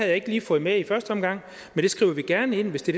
jeg ikke lige fået med i første omgang men det skriver vi gerne ind hvis det